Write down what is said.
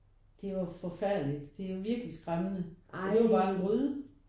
Det var forfærdeligt. Det er virkelig skræmmende og det var jo bare en gryde